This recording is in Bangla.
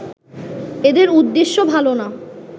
এদের উদ্দেশ্য ভালো না